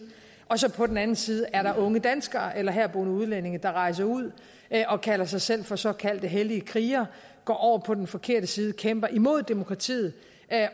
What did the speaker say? og så på den anden side er der unge danskere eller herboende udlændinge der rejser ud og kalder sig selv for såkaldte hellige krigere går over på den forkerte side kæmper imod demokratiet